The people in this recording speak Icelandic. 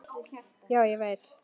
Já, ég veit